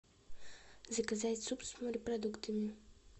заказать суп с морепродуктами